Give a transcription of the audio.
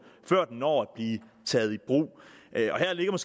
før den når at blive taget i brug her ligger